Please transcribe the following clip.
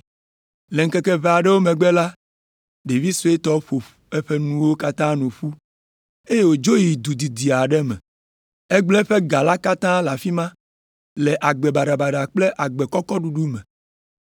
“Le ŋkeke ʋɛ aɖewo megbe la, ɖevi suetɔ ƒo eƒe nuwo katã nu ƒu eye wòdzo yi du didi aɖe me. Egblẽ eƒe ga katã le afi ma le agbe baɖabaɖa kple agbe kɔkɔ ɖuɖu me.